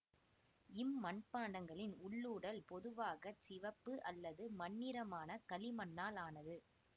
இம் மட்பாண்டங்களின் உள்ளுடல் பொதுவாக சிவப்பு அல்லது மண்ணிறமான களிமண்ணால் ஆனது